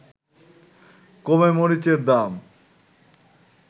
কমে মরিচের দাম